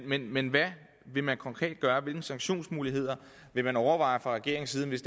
men men hvad vil man konkret gøre hvilke sanktionsmuligheder vil man overveje fra regeringens side hvis